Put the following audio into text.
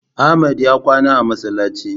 Ahmad ya kwana a masallaci